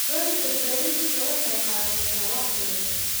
Goynta bariiska waxay qaadataa waqti dheer.